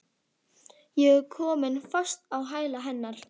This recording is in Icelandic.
Ég er komin fast á hæla hennar.